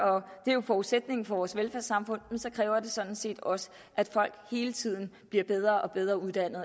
det er jo forudsætningen for vores velfærdssamfund så kræver det sådan set også at folk hele tiden bliver bedre og bedre uddannet